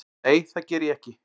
Nei það geri ég ekki.